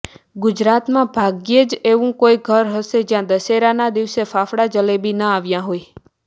ગુજરાતમાં ભાગ્યેજ તેવું કોઇ ઘર હશે જ્યાં દશેરાના દિવસે ફાફડા જલેબી ના આવ્યા હોય